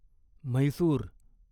Mysore